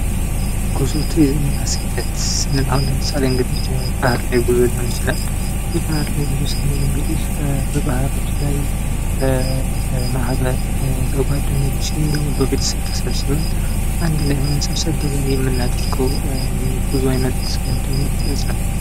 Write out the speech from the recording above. ጉዞ ቱሪዝም እና ስደት ስንል አሁን ለምሳሌ የባህር ላይ ጉዞ ሊሆን ይችላል፤ የባሕር ላይ ጉዞ ስንል እንግዲህ በባህሮች ላይ ማህበር በጓደኞች እንዲሁም ደግሞ በቤተሰብ ተሰብስበን አንድ ላይ ሆነን ሰብሰብ ብለን የምናደርገው የጉዞ አይነት ወይም ደግሞ ሂደት ነው።